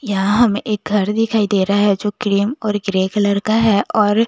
यहाँ हमे एक घर दिखाई दे रहा है जो क्रीम और ग्रे कलर का है और--